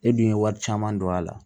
E dun ye wari caman don a la